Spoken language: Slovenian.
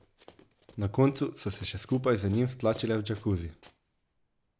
Na koncu so se še skupaj z njim stlačile v džakuzi.